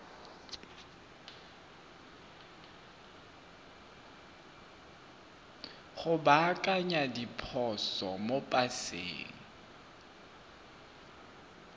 go baakanya diphoso mo paseng